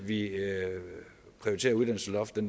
vi prioriterer uddannelsesloftet